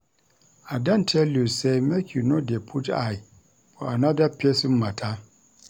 I don tell you sey make you no dey put eye for anoda pesin mata.